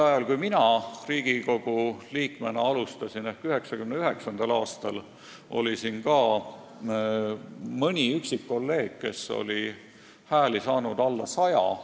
Siis, kui mina Riigikogu liikmena alustasin 1999. aastal, oli siin ka mõni üksik kolleeg, kes oli saanud alla 100 hääle.